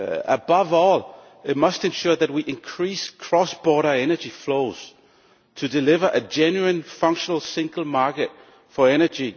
Above all, it must ensure that we increase cross border energy flows to deliver a genuine, functional single market for energy.